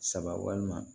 Saba walima